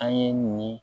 An ye nin